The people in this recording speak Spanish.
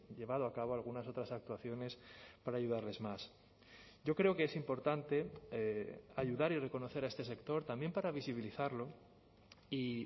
llevado a cabo algunas otras actuaciones para ayudarles más yo creo que es importante ayudar y reconocer a este sector también para visibilizarlo y